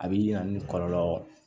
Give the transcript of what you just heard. A bi na ni kɔlɔlɔ